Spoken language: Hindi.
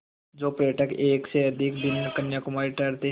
जो पर्यटक एक से अधिक दिन कन्याकुमारी ठहरते हैं